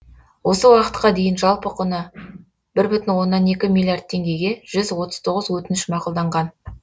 осы уақытқа дейін жалпы құны бір бүтін оннан екі миллиард теңгеге жүз отыз тоғыз өтініш мақұлданған